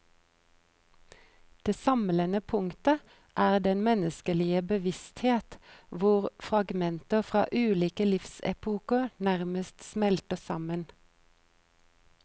Det samlende punktet er den menneskelige bevissthet hvor fragmenter fra ulike livsepoker nærmest smelter sammen.